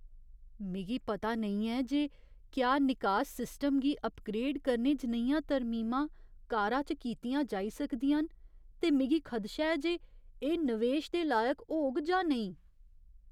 मिगी पता नेईं ऐ जे क्या निकास सिस्टम गी अपग्रेड करने जनेहियां तरमीमां कारा च कीतियां जाई सकदियां न ते मिगी खदशा ऐ जे एह् नवेश दे लायक होग जां नेईं।